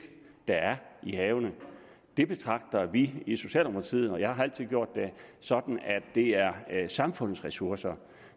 der er i havene betragter vi i socialdemokratiet og jeg har altid gjort det sådan at det er samfundets ressourcer